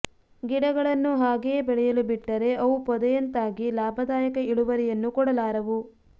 ಗಿಡಗಳನ್ನು ಹಾಗೆಯೇ ಬೆಳೆಯಲು ಬಿಟ್ಟರೆ ಅವು ಪೊದೆಯಂತಾಗಿ ಲಾಭದಾಯಕ ಇಳುವರಿಯನ್ನು ಕೊಡಲಾರವು